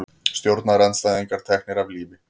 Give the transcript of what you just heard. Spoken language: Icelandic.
Stjórnarandstæðingar teknir af lífi